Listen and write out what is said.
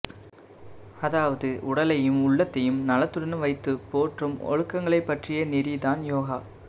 அதாவது உடலையும் உள்ளதையும் நலத்துடன் வைத்துப் போற்றும் ஒழுக்கங்களைப் பற்றிய நெறி தான் யோகா